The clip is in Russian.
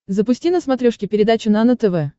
запусти на смотрешке передачу нано тв